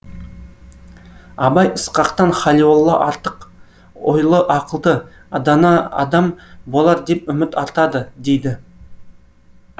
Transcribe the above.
абай ысқақтан халиолла артық ойлы ақылды дана адам болар деп үміт артады дейді